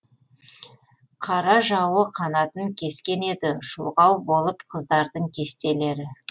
қара жауы қанатын кескен еді шұлғау болып қыздардың кестелері